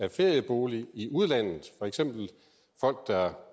og ferieboliger i udlandet for eksempel folk der ejer